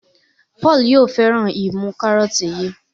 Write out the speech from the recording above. Paul yóò féràn imú karọọti yí.